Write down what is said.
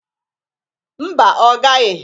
Mba, ọ gaghị.